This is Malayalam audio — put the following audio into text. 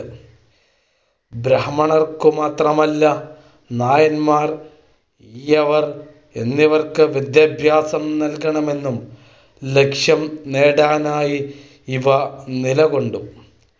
ബ്രാഹ്മണർക്കുമാത്രമല്ല, നായൻമാർ, ഈഴവർ എന്നിവർക്ക് വിദ്യാഭ്യാസം നൽകണമെന്ന ലക്ഷ്യം നേടാനായി ഇവ നിലകൊണ്ടു.